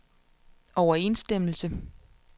overensstemmelse